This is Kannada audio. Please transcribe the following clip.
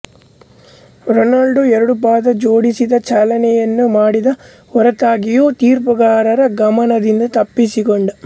ರೊನಾಲ್ಡೋ ಎರಡುಪಾದ ಜೋಡಿಸಿದ ಚಲನೆಯನ್ನು ಮಾಡಿದ ಹೊರತಾಗಿಯೂ ತೀರ್ಪುಗಾರನ ಗಮನದಿಂದ ತಪ್ಪಿಸಿಕೊಂಡ